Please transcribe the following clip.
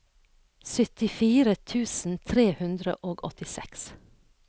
syttifire tusen tre hundre og åttiseks